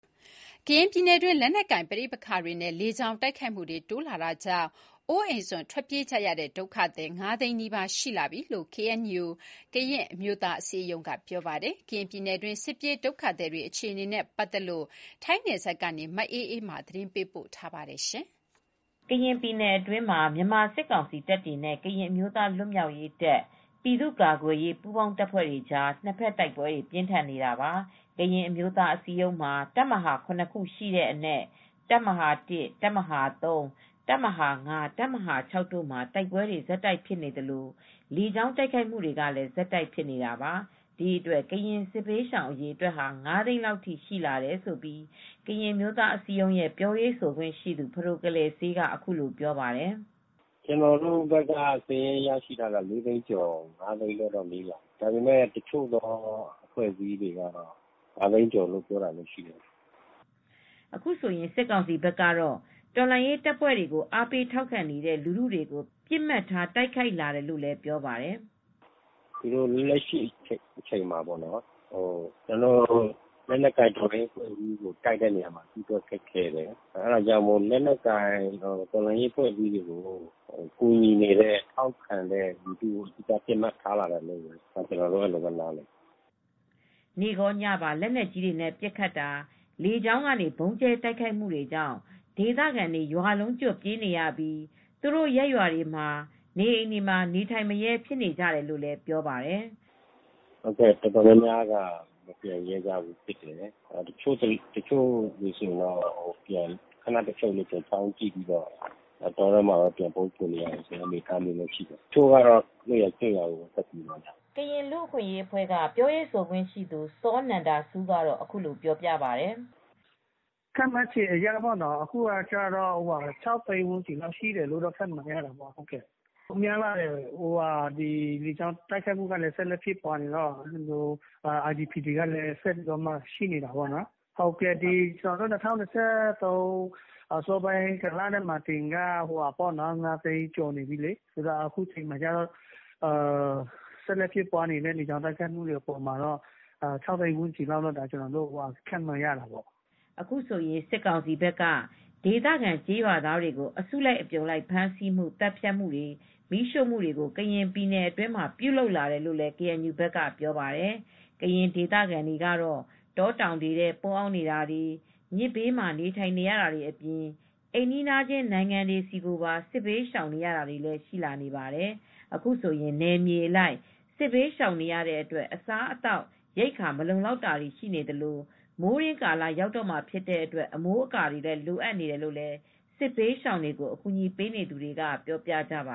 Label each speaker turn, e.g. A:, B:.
A: ကရင်ပြည်နယ်တွင်း လက်နက်ကိုင်ပဋိပက္ခတွေနဲ့ လေကြောင်းတိုက်ခိုက်မှုတွေတိုးလာတာကြောင့် အိုးအိမ်စွန့်ခွာထွက်ပြေးကြရတဲ့ ဒုက္ခသည် ၅ သိန်းနီးပါးရှိလာပြီလို့ KNU ကရင်အမျိုးသားအစည်းအရုံးက ပြောပါတယ်။ ကရင်ပြည်နယ်တွင်း စစ်ပြေးဒုက္ခသည်တွေအခြေအနေတွေနဲ့ပတ်သက်လို့ ထိုင်းနယ်စပ်ကနေ မအေးအေးမာ သတင်းပေးပို့ထားပါတယ်။ ကရင်ပြည်နယ်အတွင်းမှာ မြန်မာစစ်ကောင်စီတပ်တွေနဲ့ ကရင်အမျိုးသားလွတ်မြောက်ရေးတပ်၊ ပြည်သူကာကွယ်ရေး ပူးပေါင်းတပ်ဖွဲ့တွေကြား နှစ်ဖက်တိုက်ပွဲတွေပြင်းထန်နေတာပါ။ ကရင်အမျိုးသားအစည်းအရုံးမှာ တပ်မဟာ(၇)ခုရှိတဲ့အနက် တပ်မဟာ(၁)၊ တပ်မဟာ(၃)၊ တပ်မဟာ(၅)၊ တပ်မဟာ(၆)တို့မှာ တိုက်ပွဲတွေကဆက်တိုက်ဖြစ်နေသလို လေကြောင်းတိုက်ခိုက်မှုတွေကလည်း ဆက်တိုက်ဖြစ်နေတာပါ။ ဒီအတွက် ကရင်စစ်ဘေးရှောင်အရေအတွက်ဟာ ၅သိန်းလောက်ထိ ရှိလာတယ်လို့ကရင်အမျိုးသားအစည်းအရုံးရဲ့ပြောရေးဆိုခွင့်ရှိသူ ဖဒိုကလယ်စေးကအခုလိုပြောပါတယ်။ "
B: ကျနော်တို့ဘက်က စာရင်းအရဆိုရင် လေးသိန်းကျော် ၅သိန်းလောက်နီးလာပြီ တချို့သောအဖွဲ့အစည်း တွေက တော့ ၅သိန်းကျော်တယ်လို့ပြောတာလည်းရှိတယ်
A: " အခုဆိုရင် စစ်ကောင်စီဖက်ကတော့ တော်လှန်ရေးတပ်ဖွဲ့တွေကို အားပေးထောက်ခံနေတဲ့ လူထုကို ပစ်မှတ်ထားတိုက်ခိုက်လာတယ်လို့လည်းပြောပါတယ်။
B: "လက်ရှိအချိန်မှာလက်နက်ကိုင်တော်လှန်ရေးကိုတိုက်တာတော့သူတို့ကခက်ခဲတယ်။ ဒီတော့ လက်နက်ကိုင်တော်လှန်ရေးကိုကူညီနေတဲ့ထာက်ခံနေတဲ့လူထုကိုပစ်မှတ်ထားတာလို့ကျနော်တို့အဲဒီလို နားလည်တယ်
A: " နေ့ရော ညပါ လက်နက်ကြီးနဲ့ပစ်ခတ်တာ၊ လေကြောင်းကနေ ဗုံးကြဲတိုက်ခိုက်တာတွေကြောင့် ဒေသခံတွေရွာလုံးကျွတ်ထွက်ပြေးနေရပြီး သူတို့ရပ်ရွာတွေက နေအိမ်မှာ နေထိုင်မရဲ ဖြစ်နေကြတယ် လို့လည်း ပြောပါတယ်
B: ။ " တော်တော်များများက မပြန်ရဲကြဘူ။း တချို့လူတွေကတော့ ခနလာကြည့်ပြီးတောထဲမှာပဲ ပြန်ပုန်းနေရတာတွေလည်းရှိတယ်။ တချို့ကတော့လွတ်ရာကျွတ်ရာကို ထွက်သွားကြတယ်
A: " ကရင်လူ့အခွင့်အရေးအဖွဲ့KHRG ရဲ့ပြောရေးဆိုခွင့်ရှိသူ စောနန္ဒဆူးကတော့အခုလိုပြောပါတယ်။ "
C: ခန့်မှန်းခြေအရပေါ့နော်၊ အခုက ၆ သိန်းဝန်းကျင်လောက်ရှိတယ်လို့ခန့်မှန်းရတယ်။ လေကြောင်းတိုက်ခိုက်မှုတွေက လည်းဆက်ရှိနေတော့ IDPs တွေကလည်း ဆက်ရှိနေတာပေါ့။ အခု က ၂၀၂၃ အစပိုင်းမှာကတည်းက ၅သိန်းကျော်နေပြီလေ။ အခုဆက်လက်ဖြစ်ပွားနေတဲ့ လေကြောင်းတိုက်ခိုက်မှုတွေများတော့ ၆သိန်းလောက်ရှိနေပြီလို့ခန့်မှန်းလို့ရပါတယ်"
A: အခုဆိုရင် စစ်ကောင်စီဖက်က ဒေသခံကျေးရွာသားတွေကို အစုလိုက်အပြုံလိုက်ဖမ်းဆီးမှု၊ သတ်ဖြတ်မှုတွေ မီးရှို့တာတွေကို ကရင်ပြည်နယ်ထဲမှာ ပြုလုပ်လာတယ်လို့လည်း ကေအန်ယူဘက်က ပြောပါတယ်။ ကရင်ဒေသခံတွေကတော့ တောတောင်တွေထဲပုန်းအောင်နေတာတွေ၊ မြစ်ဘေးတွေမှာနေထိုင်ကြတာတွေ အပြင် အိမ်နီးချင်းနိုင်ငံတွေဆီကိုပါ စစ်ဘေးရှောင်နေရတာတွေလည်းရှိလာနေပါတယ်။ အခုဆိုရင် နယ်မြေအလိုက် စစ်ဘေးရှောင်နေရတဲ့အတွက် အစားအသောက်ရိက္ခာ မလုံလောက်တာတွေ ရှိနေသလို မိုးတွင်းကာလရောက်တော့မှာဖြစ်တဲ့အတွက် အမိုးအကာတွေလည်းလိုအပ်နေတယ်လို့ စစ်ဘေးရှောင်တွေကို အကူညီပေးနေသူတွေကပြောပြကြပ